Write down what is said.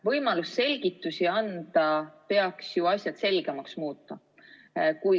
Võimalus selgitusi anda peaks ju asjad selgemaks muutma.